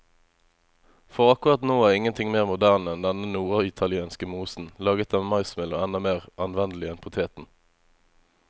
For akkurat nå er ingenting mer moderne enn denne norditalienske mosen, laget av maismel og enda mer anvendelig enn poteten.